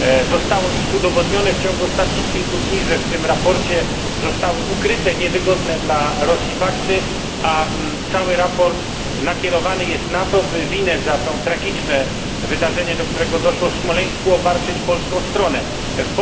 Zostało już udowodnione w ciągu ostatnich kilku dni, że w tym raporcie zostały ukryte niewygodne dla Rosji fakty, a cały raport nakierowany jest na to, by winę za to tragiczne wydarzenie, do którego doszło w Smoleńsku, obarczyć stronę polską.